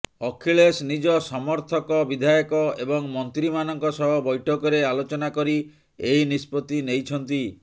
ଅଖିଳେଶ ନିଜ ସମର୍ଥକ ବିଧାୟକ ଏବଂ ମନ୍ତ୍ରୀମାନଙ୍କ ସହ ବୈଠକରେ ଆଲୋଚନା କରି ଏହି ନିଷତ୍ତି ନେଇଛନ୍ତି